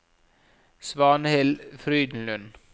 Svanhild Frydenlund